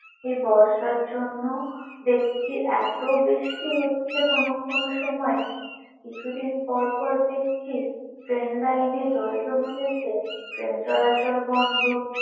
এ বর্ষার জন্য দেখছি এতো বৃষ্টি হচ্ছে কোনো কোনো সময় কিছুদিন পর পর দেখছি train line জল জমে গিয়েছে, train চলাচল বন্ধ।